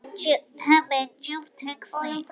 Hemmi er djúpt hugsi.